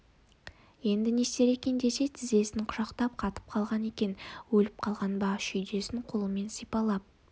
енді не істер екен десе тізесін құшақтап қатып қалған екен өліп қалған ба шүйдесін қолымен сипалап